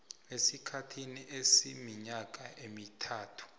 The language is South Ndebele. esikhathini esiminyaka emithathu